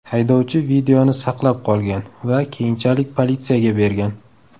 Haydovchi videoni saqlab qolgan va keyinchalik politsiyaga bergan.